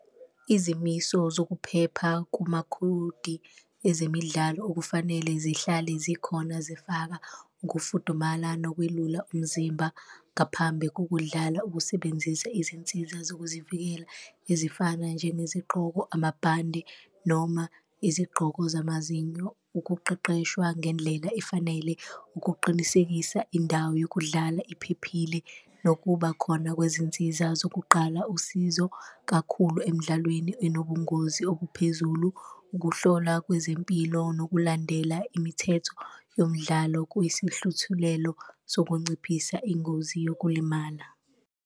Izimiso zokuphepha kumakhodi ezemidlalo okufanele zihlale zikhona zifaka ukufudumala nokwelula umzimba ngaphambi kokudlala, ukusebenzisa izinsiza zokuzivikela ezifana njengezigqoko, amabhande noma izigqoko zamazinyo, ukuqeqeshwa ngendlela efanele. Ukuqinisekisa indawo yokudlala iphephile, nokuba khona kwezinsiza zokuqala usizo kakhulu emdlalweni enobungozi obuphezulu, ukuhlolwa kwezempilo nokulandela imithetho yomdlalo kuyisihluthulelo sokunciphisa ingozi yokulimala.